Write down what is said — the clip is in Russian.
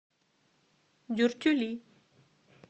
дюртюли